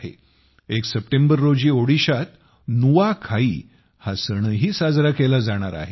1 सप्टेंबर रोजी ओडिशात नुआखाई हा सणही साजरा केला जाणार आहे